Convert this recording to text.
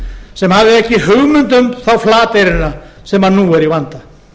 sem hafði ekki hugmynd um þá flateyringa sem nú eru í vanda